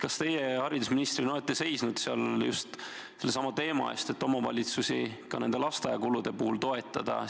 Kas teie haridusministrina olete seisnud just sellesama teema eest, et omavalitsusi ka lasteaiakulude puhul toetada?